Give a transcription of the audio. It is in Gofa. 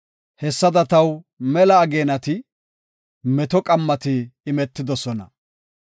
hessada taw mela ageenati meto qammati imetidosona.